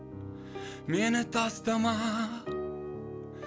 мені тастама